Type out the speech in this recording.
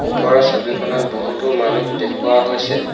ওপৰৰ ছবিখনত বহুতো মানুহ দেখুওৱা হৈছে।